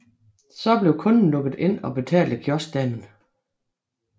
Så blev kunden lukket ind og betalte kioskdamen